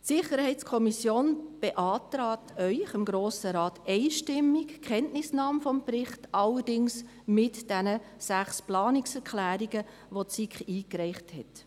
Die SiK beantragt Ihnen, dem Grossen Rat, einstimmig Kenntnisnahme des Berichts, allerdings mit diesen sechs Planungserklärungen, welche die SiK eingereicht hat.